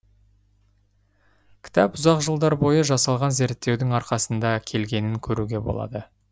кітап ұзақ жылдар бойы жасалған зерттеудің арқасында келгенін көруге болады